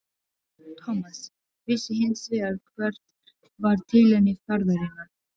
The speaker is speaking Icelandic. Thomas vissi hins vegar hvert var tilefni ferðarinnar.